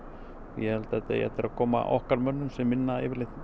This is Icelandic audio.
ég held að þetta eigi eftir að koma okkar mönnum sem vinna